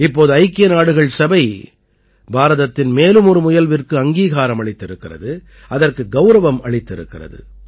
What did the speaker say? இப்போது ஐக்கிய நாடுகள் சபை பாரதத்தின் மேலும் ஒரு முயல்விற்கு அங்கீகாரம் அளித்திருக்கிறது அதற்கு கௌரவம் அளித்திருக்கிறது